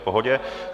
V pohodě.